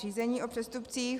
Řízení o přestupcích.